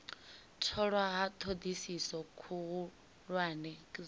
tholwa ha thodisiso khuhulwane dza